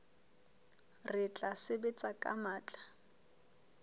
re tla sebetsa ka matla